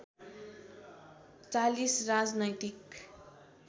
४० राजनैतिक